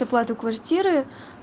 оплату квартиры